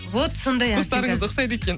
вот сондай вкустарыңыз ұқсайды екен